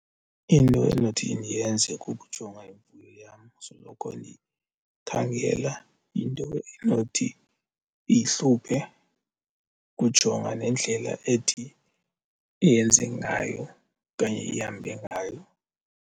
Into endinothi ndiyenze kukujonga imfuyo yam, soloko ndikhangela into enothi iyihluphe, ukujonga nendlela ethi iyenze ngayo okanye ihambe ngayo.